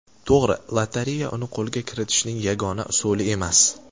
To‘g‘ri, lotereya uni qo‘lga kiritishning yagona usuli emas.